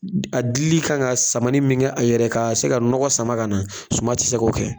A dili kan ka samani min kɛ a yɛrɛ ka se ka nɔgɔ sama ka na suman tɛ se k' kɛ.